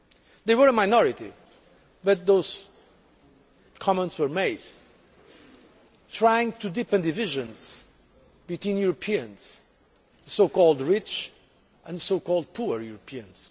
They were a minority, but those comments were made, trying to deepen divisions between Europeans, so called rich and so called poor Europeans.